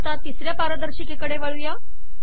तिसऱ्या पारदर्शिकेकडे वळूयात